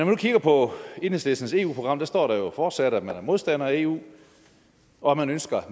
nu kigger på enhedslistens eu program står der fortsat at man er modstander af eu og at man ønsker at